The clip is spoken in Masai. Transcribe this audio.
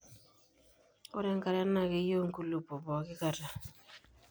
ore enkare naa keyiu inkulopok pooki kata